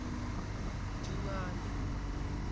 dingane